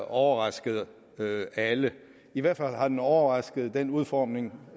overrasket alle i hvert fald har den overrasket i den udformning